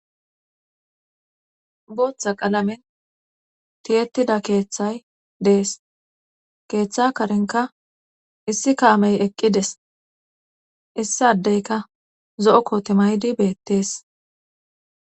Botha qalamenTiyetida keethay Des.keetha karenka issi eqides issi adeka zo'o kote mayidi betes